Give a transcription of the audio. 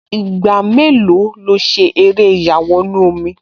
Ìgbà mélòó lo ṣe eré ìyàwọnù-omi?